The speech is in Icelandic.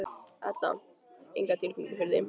Edda: Enga tilfinningu fyrir því?